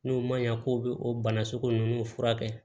N'o ma ɲa k'o be o bana sugu ninnu furakɛ